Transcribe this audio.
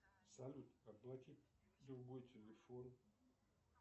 салют оплати другой телефон